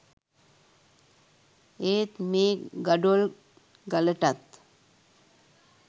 ඒත් මේ ගඩොල් ගලටත්